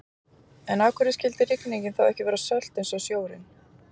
En af hverju skyldi rigningin þá ekki vera sölt eins og sjórinn?